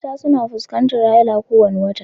Mata suna fuskantar haila kowane wata